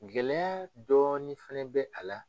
Gɛlɛya dɔɔnin fɛnɛ bɛ a la